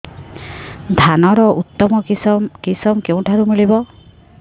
ଧାନର ଉତ୍ତମ କିଶମ କେଉଁଠାରୁ ମିଳିବ